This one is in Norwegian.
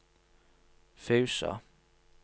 Fusa